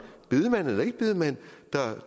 bedemand eller ikke bedemand